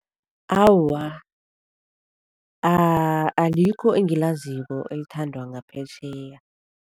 Awa, alikho engilaziko elithandwa ngaphetjheya.